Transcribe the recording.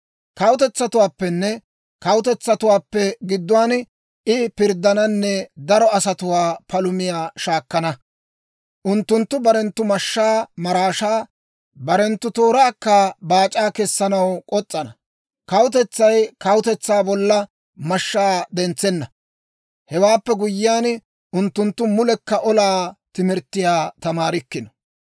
Kawutetsatuwaappenne kawutetsatuwaappe gidduwaan I pirddananne daro asatuwaa palumiyaa shaakkana. Unttunttu barenttu mashshaa maraashaa, barenttu tooraakka baac'aa kessanaw k'os's'ana. Kawutetsay kawutetsaa bolla mashshaa dentsenna. Hewaappe guyyiyaan unttunttu mulekka olaa timirttiyaa tamaarikkino.